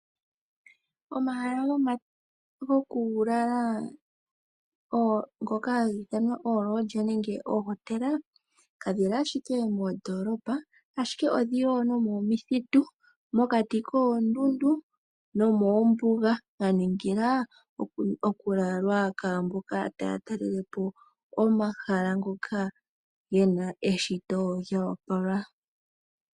Omahala gokulala kage li ashike moondoolopa, ashike ogeli ishewe momithitu, mokati koondundu nomoombuga dhaningila okulalwa kwaamboka taya taalelapo omahala ngoka gena eshito lyoopala.